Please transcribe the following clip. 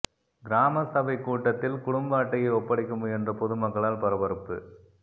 கிராமசபைக் கூட்டத்தில் குடும்ப அட்டையை ஒப்படைக்க முயன்ற பொதுமக்களால் பரபரப்பு